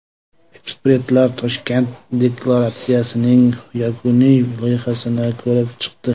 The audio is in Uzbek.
Ekspertlar Toshkent deklaratsiyasining yakuniy loyihasini ko‘rib chiqdi.